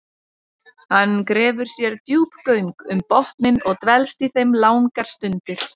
Hann grefur sér djúp göng um botninn og dvelst í þeim langar stundir.